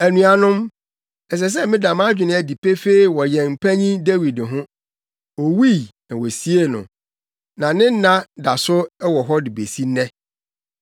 “Anuanom, ɛsɛ sɛ meda mʼadwene adi pefee wɔ yɛn panyin Dawid ho. Owui na wosiee no, na ne nna da so wɔ hɔ besi nnɛ.